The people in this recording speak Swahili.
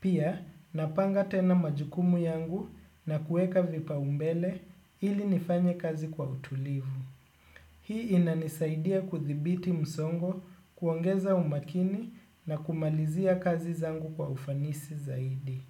Pia napanga tena majukumu yangu na kueka vipaumbele ili nifanye kazi kwa utulivu. Hii inanisaidia kuthibiti msongo kuongeza umakini na kumalizia kazi zangu kwa ufanisi zaidi.